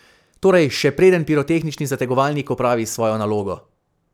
Torej, še preden pirotehnični zategovalnik opravi svojo nalogo.